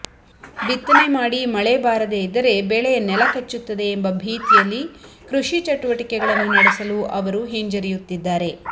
ಬಿತ್ತನೆ ಮಾಡಿ ಮಳೆ ಬಾರದೆ ಇದ್ದರೆ ಬೆಳೆ ನೆಲಕಚ್ಚುತ್ತದೆ ಎಂಬ ಭೀತಿಯಲ್ಲಿ ಕೃಷಿ ಚಟುವಟಿಕೆಗಳನ್ನು ನಡೆಸಲು ಅವರು ಹಿಂಜರಿಯುತ್ತಿದ್ದಾರೆ